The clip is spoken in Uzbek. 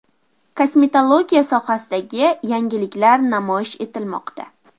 Kosmetologiya sohasidagi yangiliklar namoyish etilmoqda.